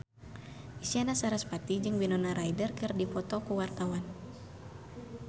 Isyana Sarasvati jeung Winona Ryder keur dipoto ku wartawan